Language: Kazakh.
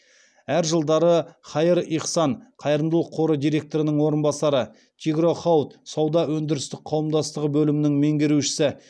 әр жылдары хаир ихсан қайырымдылық қоры директорының орынбасары тигро хауд сауда өндірістік қауымдастығы бөлімінің меңгерушісі